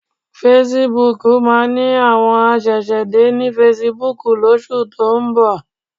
Fesibúùkù máa ní àwọn aṣẹ̀ṣẹ̀dé ní fesibúùkù lóṣù tó ń bọ̀